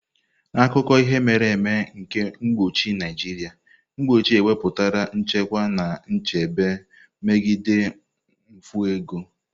N'akụkọ ihe mere eme nke mkpuchi Naijiria, mkpuchi ewepụtala nchekwa na nchebe megide mfu ego.